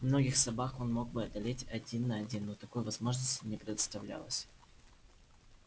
многих собак он мог бы одолеть один на один но такой возможности не представлялось